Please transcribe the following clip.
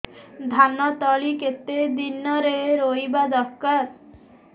ଧାନ ତଳି କେତେ ଦିନରେ ରୋଈବା ଦରକାର